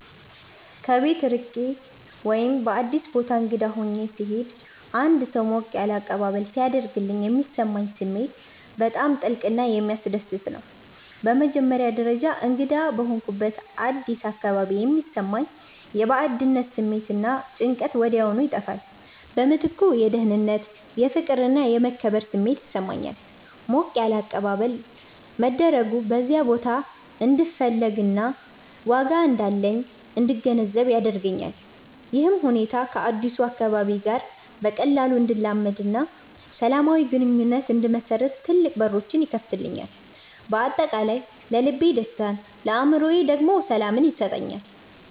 ከቤት ርቄ ወይም በአዲስ ቦታ እንግዳ ሆኜ ስሄድ አንድ ሰው ሞቅ ያለ አቀባበል ሲያደርግልኝ የሚሰማኝ ስሜት በጣም ጥልቅና የሚያስደስት ነው። በመጀመሪያ ደረጃ፣ እንግዳ በሆንኩበት አዲስ አካባቢ የሚሰማኝ የባዕድነት ስሜት እና ጭንቀት ወዲያውኑ ይጠፋል። በምትኩ የደህንነት፣ የፍቅር እና የመከበር ስሜት ይሰማኛል። ሞቅ ያለ አቀባበል መደረጉ በዚያ ቦታ እንድፈለግና ዋጋ እንዳለኝ እንድገነዘብ ያደርገኛል። ይህም ሁኔታ ከአዲሱ አካባቢ ጋር በቀላሉ እንድላመድና ሰላማዊ ግንኙነት እንድመሰርት ትልቅ በሮች ይከፍትልኛል። በአጠቃላይ ለልቤ ደስታን ለአእምሮዬ ደግሞ ሰላምን ይሰጠኛል።